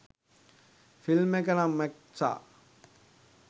Film එක නම් මැක්සා.